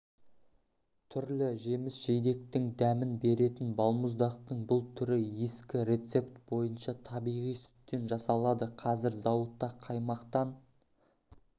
түрлі жеміс-жидектің дәмін беретін балмұздақтың бұл түрі ескі рецепт бойынша табиғи сүттен жасалады қазір зауытта қаймақтан